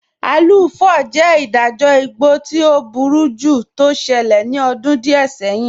Aluu 4 jẹ́ ìdájọ̀ ìgbọ̀ tí ọ̀ búrújú tó ṣẹlẹ̀ ní ọ̀dún díẹ̀ sẹ̀hìn.